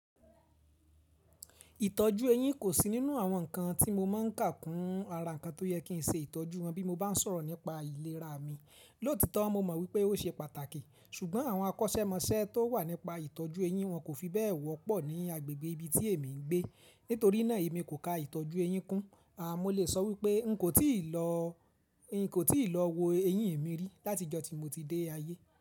Ìtọ́jú eyín kò sí nínú àwọn ǹkan tí mo máa ń kà kún ara ǹkan tó yẹ kí n ṣe ìtọ́jú wọn bí mo bá ń sọ̀rọ̀ nípa ìlera mi. Lóòtítọ́ mo mọ̀ wípé ó ṣe pàtàkì, ṣùgbọ́n àwọn akọ́ṣẹ́mọṣẹ́ tó wà nípa ìtọ́jú eyín wọn kò fi bẹ́ẹ̀ wọ́pọ̀ ní agbègbè ibi tí èmi ń gbé. Nítorí náà èmi kò ka ìtọ́jú eyín kún. A, mo lè sọ wípé n kò tíì lọ, n kò tíì lọ wo eyín mi rí láti ọjọ́ tí mo ti dé ayé.